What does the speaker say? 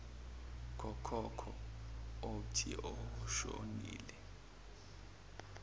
kokhokho opnje noshonile